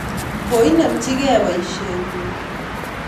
Koinemchi kei poisye nyi